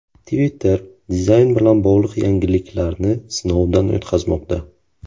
Twitter dizayn bilan bog‘liq yangiliklarni sinovdan o‘tkazmoqda.